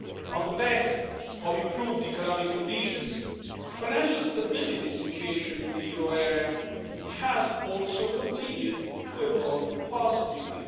On the back of improved economic conditions, the financial stability situation in the euro area has also continued to evolve positively.